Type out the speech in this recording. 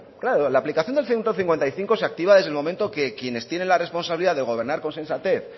claro la aplicación del ciento cincuenta y cinco se activa desde el momento que quienes tienen la responsabilidad de gobernar con sensatez